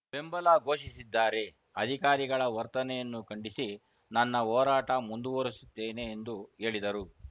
ಬೆಂಬಲ ಘೋಷಿಸಿದ್ದಾರೆ ಅಧಿಕಾರಿಗಳ ವರ್ತನೆಯನ್ನು ಖಂಡಿಸಿ ನನ್ನ ಹೋರಾಟ ಮುಂದುವರಿಸುತ್ತೇನೆ ಎಂದು ಹೇಳಿದರು